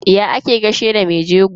Ya ake gaishe da me jego?